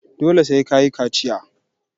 Dole sai ka yi kaciya.